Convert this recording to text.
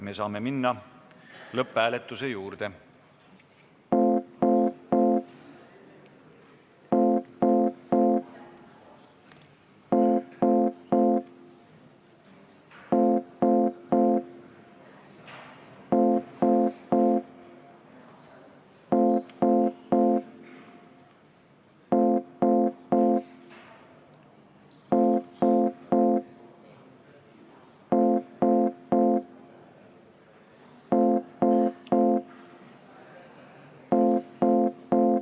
Me saame minna lõpphääletuse juurde.